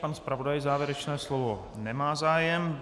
Pan zpravodaj závěrečné slovo - nemá zájem.